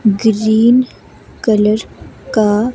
green colour का--